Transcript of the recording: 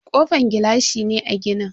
Kofan gilashi ne a ginin.